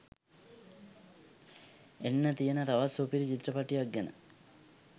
එන්න තියන තවත් සුපිරි චිත්‍රපටයක් ගැන